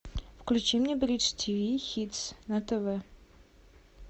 включи мне бридж тв хитс на тв